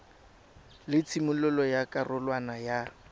la tshimololo ya karolwana ya